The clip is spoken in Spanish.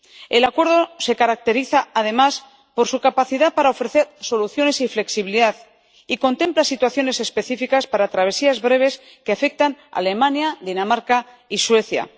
El acuerdo se caracteriza, además, por su capacidad para ofrecer soluciones y flexibilidad y contempla situaciones específicas para travesías breves que afectan a Alemania, Dinamarca y Suecia.